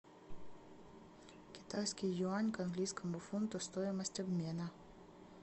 китайский юань к английскому фунту стоимость обмена